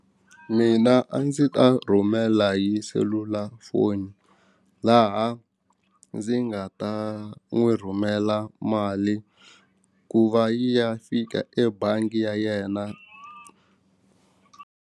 Mina a ndzi ta rhumela hi selulafoni laha ndzi nga ta n'wi rhumela mali ku va yi ya fika ebangi ya yena.